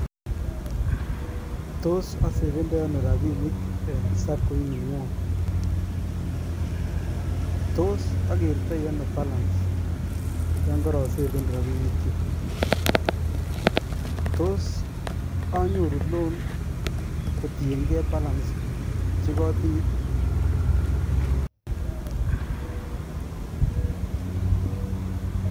Toos osefendoi onoo rabishek en sacco ining'wong, toos okertoi anoo balance yoon korosefen rabinikyuk, toos onyoru loan kotieng'e balance chekotinye.